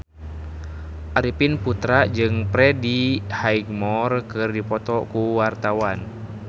Arifin Putra jeung Freddie Highmore keur dipoto ku wartawan